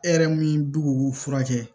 E yɛrɛ min b'u furakɛ